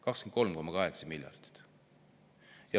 23,8 miljardit!